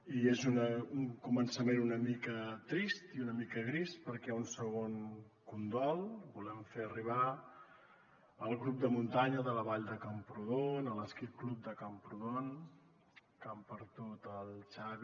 i és un començament una mica trist i una mica gris perquè un segon condol volem fer arribar al grup de muntanya de la vall de camprodon a l’ski club de camprodon que han perdut el xavi